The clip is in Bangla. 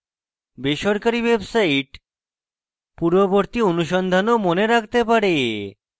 বেসরকারী websites পূর্ববর্তী অনুসন্ধান ও মনে রাখতে পারে